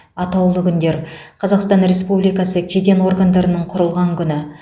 атаулы күндер қазақстан республикасы кеден органдарының құрылған күні